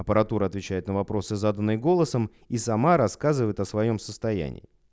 аппаратура отвечает на вопросы заданные голосом и сама рассказывает о своём состоянии